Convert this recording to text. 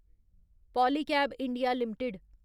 Polycab India limited